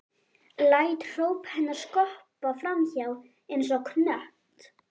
Læt hróp hennar skoppa fram hjá mér einsog knött.